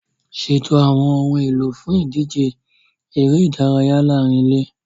Ṣètò àwọn ohun èlò fún ìdíje eré ìdárayá láàárín ilé.